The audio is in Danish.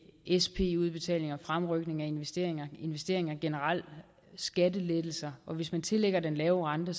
sp udbetalinger fremrykning af investeringer investeringer generelt og skattelettelser og hvis man tillægger den lave rente